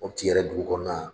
Mɔputi yɛrɛ dugu kɔnɔna.